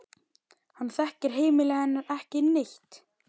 Hann þekkir heimili hennar ekki neitt.